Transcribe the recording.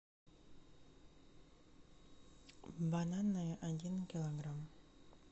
бананы один килограмм